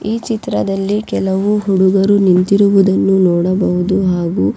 ಈ ಚಿತ್ರದಲ್ಲಿ ಕೆಲವು ಹುಡುಗರು ನಿಂತಿರುವುದನ್ನು ನೋಡಬಹುದು ಹಾಗು.